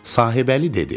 Sahibəli dedi.